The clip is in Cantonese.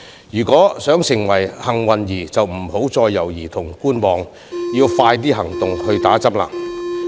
如果想成為幸運兒便不要再猶豫和觀望，要盡快行動，接種疫苗。